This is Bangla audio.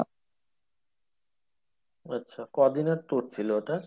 ও আচ্ছা ক দিনের tour ছিল ওটা ?